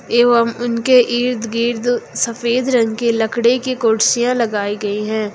एवं उनके इर्द गिर्द सफेद रंग के लकड़े के कुड़सिया लगाई गई हैं।